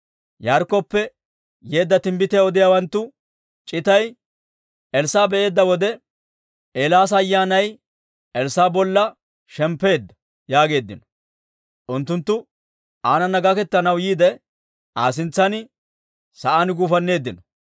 Yaarikkoppe yeedda timbbitiyaa odiyaawanttu c'itay Elssaa'a be'eedda wode, «Eelaasa ayyaanay Elssaa'a bolla shemppeedda» yaageeddino. Unttunttu aanana gaketanaw yiide, Aa sintsan sa'aan guufanneeddino.